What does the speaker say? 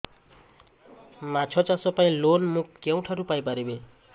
ମାଛ ଚାଷ ପାଇଁ ଲୋନ୍ ମୁଁ କେଉଁଠାରୁ ପାଇପାରିବି